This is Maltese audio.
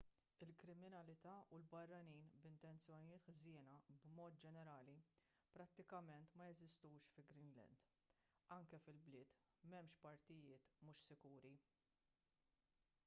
il-kriminalità u l-barranin b'intenzjonijiet ħżiena b'mod ġenerali prattikament ma jeżistux fi greenland anke fil-bliet m'hemmx partijiet mhux sikuri